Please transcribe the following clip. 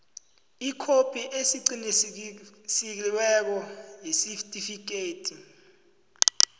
ikhophi eqinisekisiweko yesitifikhethi